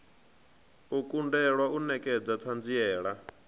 u kundelwa u nekedza thanziela